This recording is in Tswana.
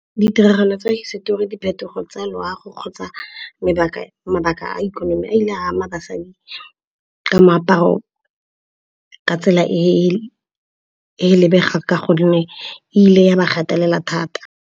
Ditiragalo tsa hisetori, diphetogo tsa loago kgotsa mabaka a ikonomi a ile a ama basadi ka moaparo ka tsela e e lebega ka gonne e ile ya ba gatelela thata.